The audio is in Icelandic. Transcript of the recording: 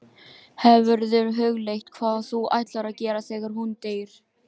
Hefurðu hugleitt hvað þú ætlar að gera þegar hún deyr?